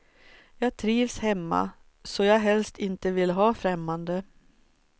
Jag trivs hemma, så jag helst inte vill ha främmande.